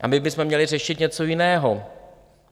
A my bychom měli řešit něco jiného.